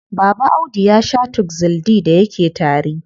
Baba Audu ya shaa Tuxil D da yake tari.